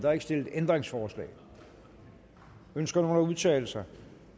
er ikke stillet ændringsforslag ønsker nogen at udtale sig